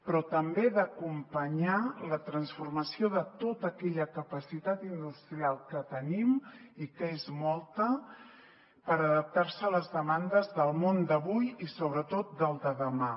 però també d’acompanyar la transformació de tota aquella capacitat industrial que tenim i que és molta per adaptar se a les demandes del món d’avui i sobretot del de demà